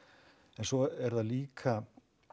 en svo er það líka